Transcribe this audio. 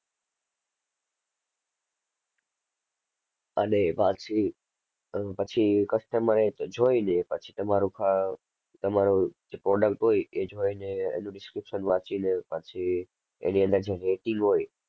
અને પછી અર પછી customer એ જોઈ લે પછી તમારો ક~તમારો જે product હોય એ જોઈ ને એનું description વાંચી ને પછી એની અંદર જે rating હોય,